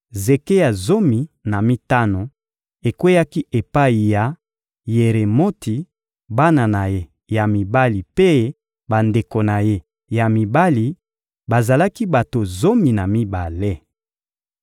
Zeke ya zomi na mitano ekweyaki epai ya Yeremoti, bana na ye ya mibali mpe bandeko na ye ya mibali: bazalaki bato zomi na mibale.